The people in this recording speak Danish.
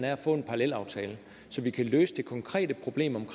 er at få en parallelaftale så vi kan løse det konkrete problem